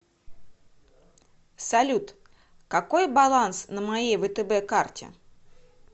салют какой баланс на моей втб карте